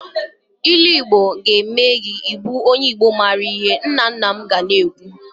Ilu Igbo ga eme gi onye igbo maara ihe nna nna m ga na-ekwu.